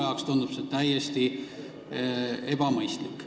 Mulle tundub see vägagi ebamõistlik.